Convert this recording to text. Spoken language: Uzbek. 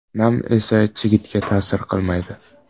Nam esa chigitga ta’sir qilmaydi.